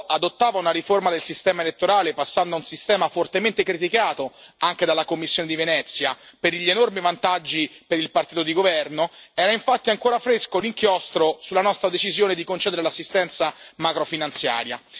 moldavo adottava una riforma del sistema elettorale, passando a un sistema fortemente criticato anche dalla Commissione di Venezia, per gli enormi vantaggi per il partito di governo, era infatti ancora fresco l'inchiostro sulla nostra decisione di concedere l'assistenza macrofinanziaria.